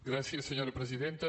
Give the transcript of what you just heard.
gràcies senyora presidenta